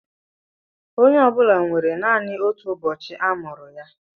Onye ọ bụla nwere naanị ọtụ ụbọchị a mụrụ ya.